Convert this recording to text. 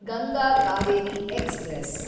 Ganga Kaveri express